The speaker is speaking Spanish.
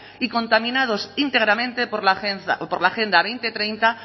y contaminados íntegramente por la agenda dos mil treinta